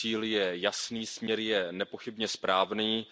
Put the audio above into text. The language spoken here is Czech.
Cíl je jasný, směr je nepochybně správný.